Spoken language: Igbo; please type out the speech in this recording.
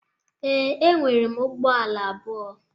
Ee, enwerem ụgbọ ala abụọ.